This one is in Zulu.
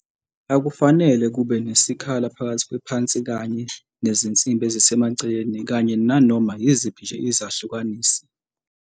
Akufanele kube nesikhala phakathi kwephansikanye nezinsimbi ezisemaceleni kanye nanoma yiziphi nje izahlukanisi.